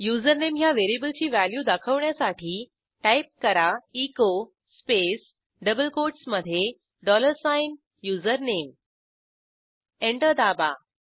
username ह्या व्हेरिएबलची value दाखवण्यासाठी टाईप करा एचो स्पेस डबल कोटसमधे डॉलर साइन युझरनेम एंटर दाबा